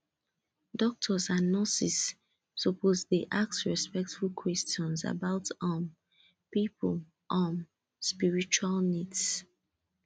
doctors and nurses suppose dey ask respectful questions about um people um spiritual needs